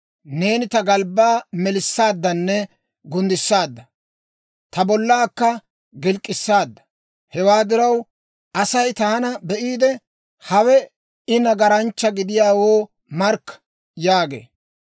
Neeni ta galbbaa melissaaddanne gunddissaadda; ta bollaakka gilk'k'issaadda. Hewaa diraw, Asay taana be'iide, ‹Hawe I nagaranchcha gidiyaawoo markka› yaagee.